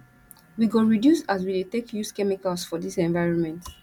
we go reduce as we dey take use chemicals for dis environment